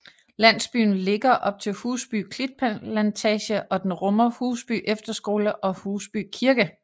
Landsbyen ligger op til Husby Klitplantage og den rummer Husby Efterskole og Husby Kirke